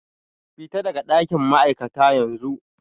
Fita daga dakin ma'aikata yanzu